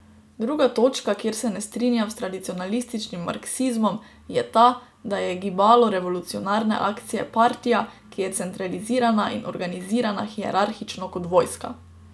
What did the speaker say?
Druga točka, kjer se ne strinjam s tradicionalističnim marksizmom, je ta, da je gibalo revolucionarne akcije partija, ki je centralizirana in organizirana hierarhično kot vojska.